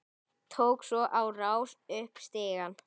Tók svo á rás upp stigann.